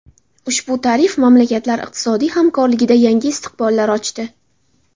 Ushbu tashrif mamlakatlar iqtisodiy hamkorligida yangi istiqbollar ochdi.